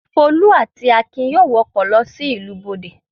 Folú àti Akin yóò wọ ọkọ̀ lọ sí ìlú Bọ̀dé.